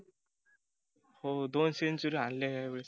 हो दोन century हानल्या या वेळेस.